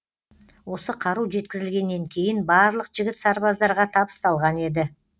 осы қару жеткізілгеннен кейін барлық жігіт сарбаздарға табысталған еді